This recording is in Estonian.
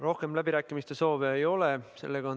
Rohkem läbirääkimise soove ei ole.